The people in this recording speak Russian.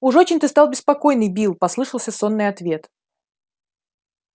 уж очень ты стал беспокойный билл послышался сонный ответ